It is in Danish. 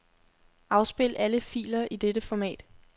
Afspil alle filer i dette format.